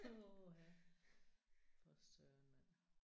Åh ha for søren mand